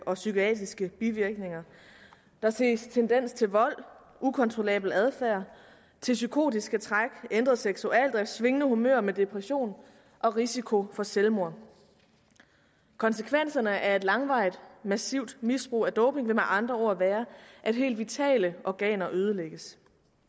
og psykiatriske bivirkninger der ses tendens til vold ukontrollabel adfærd psykotiske træk ændret seksualdrift svingende humør med depression og risiko for selvmord konsekvenserne af et langvarigt massivt misbrug af doping vil med andre ord være at helt vitale organer ødelægges